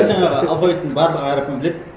жаңағы алфавиттің барлық әріпін біледі